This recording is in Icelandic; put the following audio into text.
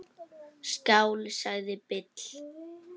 Skál, sagði Bill.